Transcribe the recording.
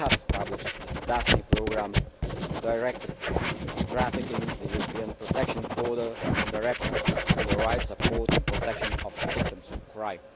We have established the Daphne Programme, the Directive on trafficking, the European Protection Order and the Directive on the rights, support and protection of victims of crime.